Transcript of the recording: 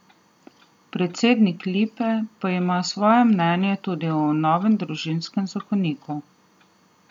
Predsednik Lipe pa ima svoje mnenje tudi o novem družinskem zakoniku.